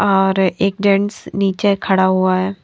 और एक जेंट्स नीचे खड़ा हुआ है।